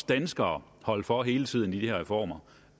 danskere holde for hele tiden i de her reformer